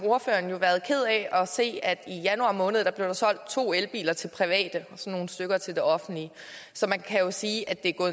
ordføreren været ked af at se at der i januar måned er blevet solgt to elbiler til private og så nogle stykker til det offentlige så man kan jo sige at det